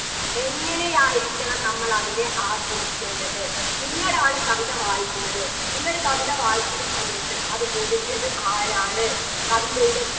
എങ്ങനെയായിരിക്കണം നമ്മൾ അതിനെ ആസ്വദിക്കേണ്ടത് നിങ്ങൾ ആണ് കവിത വായിക്കുന്നത് നിങ്ങള് കവിത വായിക്കുന്ന സമയത്ത് അത് എഴുതിയത് ആരാണ് കവിതയുടെ